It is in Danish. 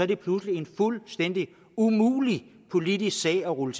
det pludselig en fuldstændig umulig politisk sag at rulle